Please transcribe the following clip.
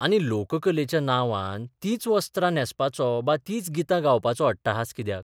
आनी लोककलेच्या नांवान तींच वस्त्रां न्हेसपाचो बा तीच गितां गावपाचो अट्टाहास कित्याक?